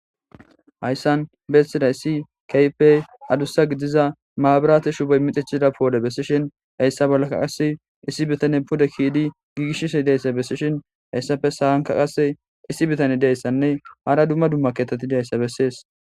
Hayssan beessida issi kaype adussa gidiza maabirate shubey mixichida poode bessishin heyssa bollakka qass issi bitane puda kiidi giiishisi deyssa bessishin heyssafe sahanka qasse issi bitane deyssanne hara dumma dumma keteti dayssa bessees